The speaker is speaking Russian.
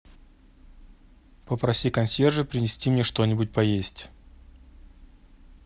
попроси консьержа принести мне что нибудь поесть